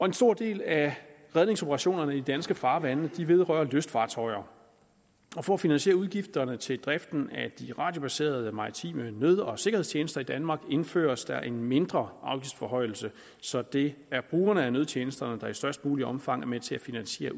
en stor del af redningsoperationerne i de danske farvande vedrører lystfartøjer for at finansiere udgifterne til driften af de radiobaserede maritime nød og sikkerhedstjenester i danmark indføres der en mindre afgiftsforhøjelse så det er brugerne af nødtjenesterne der i størst muligt omfang er med til at finansiere